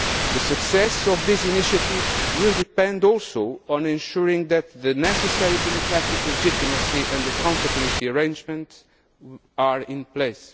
The success of these initiatives will depend also on ensuring that the necessary democratic legitimacy and accountability arrangements are in